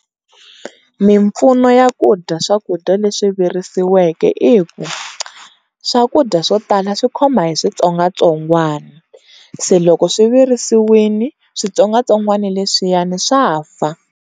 Mimpfuno ya ku dya swakudya leswi virisiweke i ku swakudya swo tala swi khoma hi switsongwatsongwana, se loko swi virisiwini switsongwatsongwani leswiyani swa fa.